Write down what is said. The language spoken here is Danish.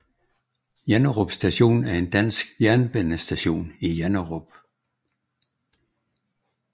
Janderup Station er en dansk jernbanestation i Janderup